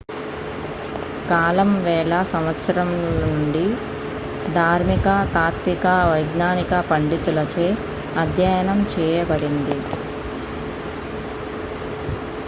కాలం వేల సంవత్సరాల నుండి ధార్మిక తాత్విక వైజ్ఞానిక పండితుల చే అధ్యయనం చేయబడింది